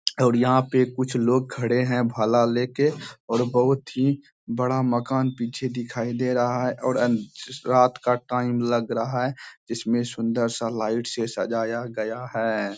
और यहाँ पे कुछ लोग खड़े हैं भाला लेके और बहोत ही बड़ा मकान पीछे दिखाई दे रहा है और अन रात का टाइम लग रहा है जिसमें सुन्दर सा लाइट से सजाया गया है।